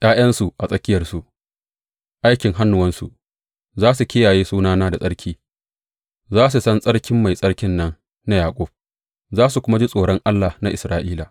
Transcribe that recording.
Sa’ad da suka ga ’ya’yansu a tsakiyarsu, aikin hannuwansu, za su kiyaye sunana da tsarki; za su san tsarkin Mai Tsarkin nan na Yaƙub, za su kuma ji tsoron Allah na Isra’ila.